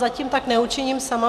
Zatím tak neučiním sama.